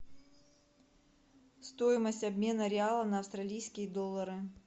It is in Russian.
стоимость обмена реала на австралийские доллары